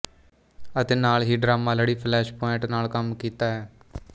ਅਤੇ ਨਾਲ ਹੀ ਡਰਾਮਾ ਲੜੀ ਫਲੈਸ਼ਪੁਆਇੰਟ ਨਾਲ ਕੰਮ ਕੀਤਾ ਹੈ